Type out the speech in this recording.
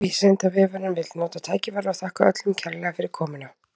Vísindavefurinn vill nota tækifærið og þakka öllum kærlega fyrir komuna!